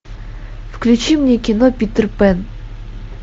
включи мне кино питер пэн